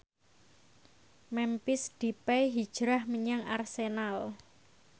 Memphis Depay hijrah menyang Arsenal